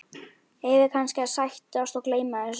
Eigum við kannski að sættast og gleyma þessu?